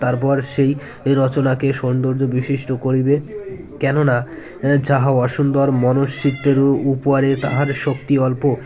তারপর সেই রচনাকে সৌন্দর্য বিশিষ্ট করিবে কেননা যাহা অসূন্দর মনুষ্যত্বেরু উপরে তাহার শক্তি অল্প